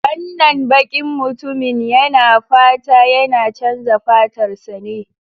Wannan bakin mutumin yana fata yana chanza fatarsa ne?